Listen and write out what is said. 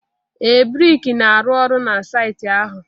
ee, brik na-arụ ọrụ na saịtị ahụ